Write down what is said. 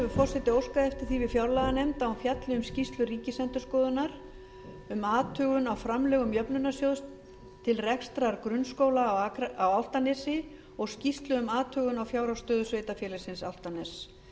forseti óskað eftir því við fjárlaganefnd að hún fjalli um skýrslu ríkisendurskoðunar um athugun á framlögum jöfnunarsjóðs til rekstrar grunnskóla á álftanesi og skýrslu um athugun á fjárhagsstöðu sveitarfélagsins álftaness